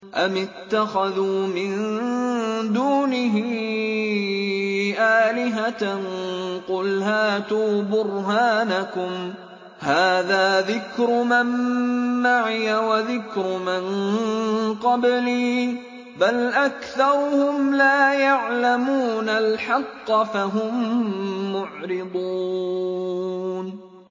أَمِ اتَّخَذُوا مِن دُونِهِ آلِهَةً ۖ قُلْ هَاتُوا بُرْهَانَكُمْ ۖ هَٰذَا ذِكْرُ مَن مَّعِيَ وَذِكْرُ مَن قَبْلِي ۗ بَلْ أَكْثَرُهُمْ لَا يَعْلَمُونَ الْحَقَّ ۖ فَهُم مُّعْرِضُونَ